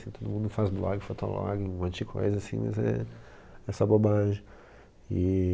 Todo mundo faz blog, fotolog, um monte de coisa assim, mas é, é só bobagem, e...